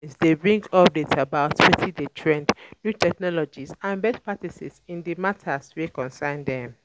These meetings de bring updates about um wetin de trend new technologies and best practices in the matters wey concern them